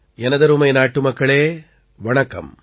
எனதருமை நாட்டுமக்களே வணக்கம்